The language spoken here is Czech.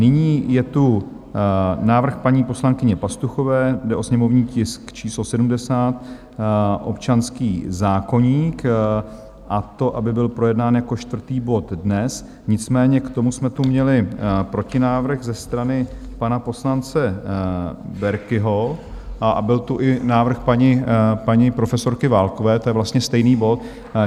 Nyní je tu návrh paní poslankyně Pastuchové, jde o sněmovní tisk číslo 70, občanský zákoník, a to, aby byl projednán jako čtvrtý bod dnes, nicméně k tomu jsme tu měli protinávrh ze strany pana poslance Berkiho, a byl tu i návrh paní profesorky Válkové, to je vlastně stejný bod.